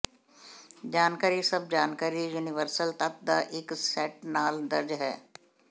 ਜਾਣਕਾਰੀ ਸਭ ਜਾਣਕਾਰੀ ਯੂਨੀਵਰਸਲ ਤੱਤ ਦਾ ਇੱਕ ਸੈੱਟ ਨਾਲ ਦਰਜ ਹੈ